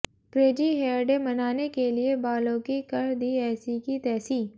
crazy hair day मनाने के लिए बालों की कर दी ऐसी की तैसी